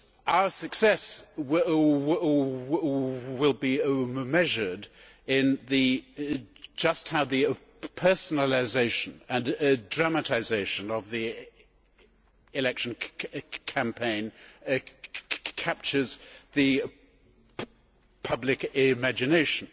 Our success will be measured in just how the personalisation and dramatisation of the election campaign captures the public imagination,